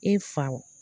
E faw